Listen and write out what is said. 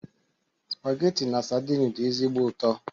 Spageti na sadin dị ezigbo ụtọ.